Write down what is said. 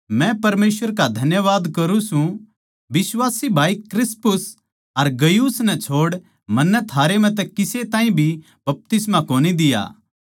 मै परमेसवर का धन्यवाद करूँ सूं बिश्वासी भाई क्रिस्पुस अर गयुस नै छोड़ मन्नै थारै म्ह तै किसे ताहीं भी बपतिस्मा कोनी दिया